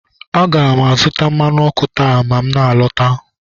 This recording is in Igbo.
A ga m azụta mmanụ ọkụ taa ma m na-alọta